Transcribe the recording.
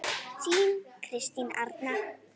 Þín Kristín Arna.